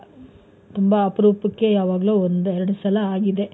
ತುಂಬಾ ಅಪರೂಪಕ್ಕೆ ಯಾವಾಗ್ಲೋ ಒಂದ್ ಎರಡು ಸಲ ಆಗಿದೆ.